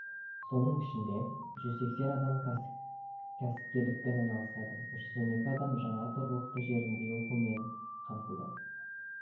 соның ішінде жүз сексен адам кәсіпкерлікпен айналысады жүз он екі адам жаңа тұрғылықты жерінде оқумен қамтылды